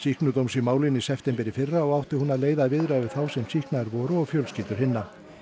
sýknudóms í málinu í september í fyrra og átti hún að leiða viðræður við þá sem sýknaðir voru og fjölskyldur hinna